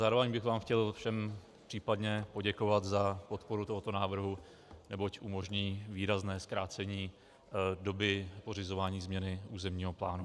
Zároveň bych vám chtěl všem případně poděkovat za podporu tohoto návrhu, neboť umožní výrazné zkrácení doby pořizování změny územního plánu.